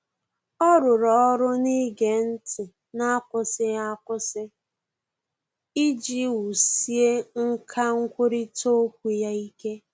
Ọ́ rụ́rụ́ ọ́rụ́ n’ígé ntị́ n’ákwụ́sị́ghị́ ákwụ́sị́ iji wùsíé nkà nkwurịta okwu ya ike.